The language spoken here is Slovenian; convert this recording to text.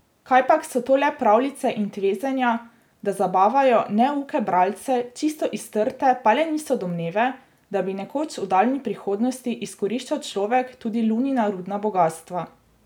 Kajpak so to le pravljice in tvezenja, da zabavajo neuke bralce, čisto iz trte pa le niso domneve, da bi nekoč v daljni prihodnosti izkoriščal človek tudi Lunina rudna bogastva.